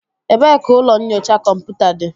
Ebee ka ụlọ nyocha kọmputa dị?